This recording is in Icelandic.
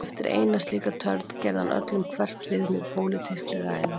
Eftir eina slíka törn, gerði hann öllum hverft við með pólitískri ræðu.